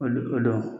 Olu do